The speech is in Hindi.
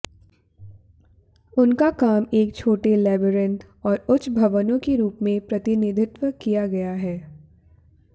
उनका काम एक छोटे लेबिरिंथ और उच्च भवनों के रूप में प्रतिनिधित्व किया है